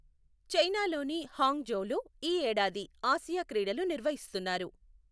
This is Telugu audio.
చైనాలోని హాంగ్ ఝౌలో ఈ ఏడాది ఆసియా క్రీడలు నిర్వహిస్తున్నారు.